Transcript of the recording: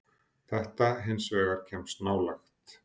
Þetta hins vegar kemst nálægt.